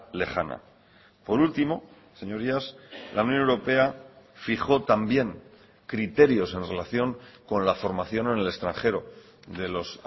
lejana por último señorías la unión europea fijó también criterios en relación con la formación en el extranjero de los